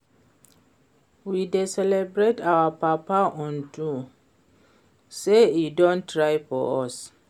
We dey celebrate our papa unto say e don try for us